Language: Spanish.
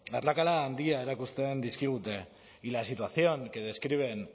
arrakala handia erakusten dizkigute y la situación que describen